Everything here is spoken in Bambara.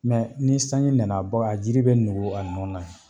ni sanji nana a baga a jiri bɛ nugu a nɔ na.